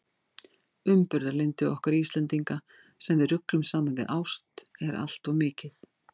Umburðarlyndi okkar Íslendinga, sem við ruglum saman við ást, er allt of mikið.